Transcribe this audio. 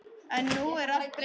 En nú er allt breytt.